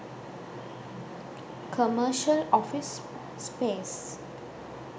commercial office space